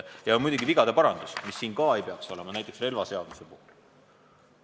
Ja muidugi vigade parandus, mida samuti ei peaks siin olema, näiteks relvaseaduse muudatus.